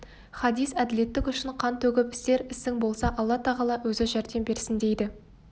хадис әділеттік үшін қан төгіп істер ісің болса алла-тағала өзі жәрдем берсіндейді